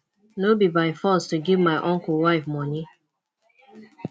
no be by force to give my uncle wife money